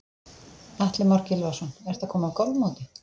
Atli Már Gylfason: Ertu að koma af golfmóti?